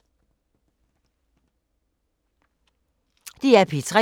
DR P3